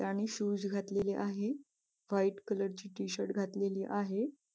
आणि शूज घातलेले आहे व्हाईट कलर ची टी-शर्ट घातलेली आहे.